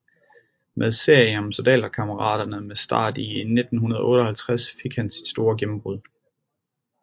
Med serien om Soldaterkammeraterne med start i 1958 fik han sit store gennembrud